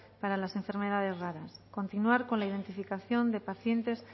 para las enfermedades raras continuar con la identificación de pacientes